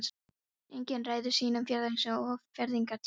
Enginn ræður sínum fæðingarstað og fæðingartíma.